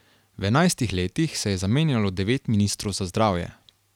V enajstih letih se je zamenjalo devet ministrov za zdravje.